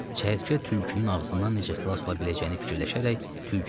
Çəyirtkə tülkünün ağzından necə xilas ola biləcəyini fikirləşərək tülküyə dedi: